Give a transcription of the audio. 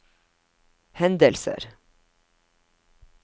hendelser